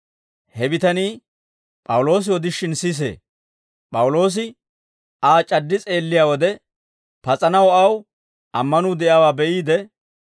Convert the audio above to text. He bitanii P'awuloosi odishin sisee; P'awuloosi Aa c'addi s'eelliyaa wode, pas'anaw aw ammanuu de'iyaawaa be'iide,